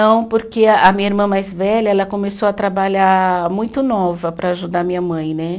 Não, porque a a minha irmã mais velha, ela começou a trabalhar muito nova para ajudar minha mãe, né?